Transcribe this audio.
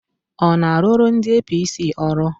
Ọ na-arụrụ ndị APC ọrụ?